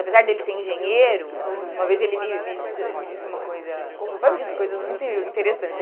Apesar dele ser engenheiro, aham, uma vez ele me me disse me disse uma coisa... Meu pai me disse coisas muito interessantes.